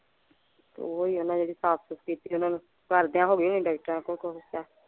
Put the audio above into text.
ਤੇ ਓਹ ਹੀ ਓਹਨਾਂ ਨੇ ਕੀਤੀ ਓਹਨਾਂ ਨੂੰ ਕਰਦਿਆਂ ਹੋ ਗਏ